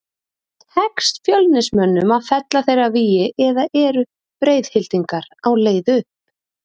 Tekst Fjölnismönnum að fella þeirra vígi eða eru Breiðhyltingar á leið upp?